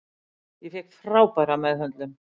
Ég fékk frábæra meðhöndlun.